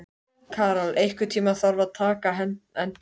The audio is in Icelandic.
Karol, einhvern tímann þarf allt að taka enda.